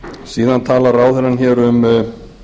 síðan tala ráðherrann hér um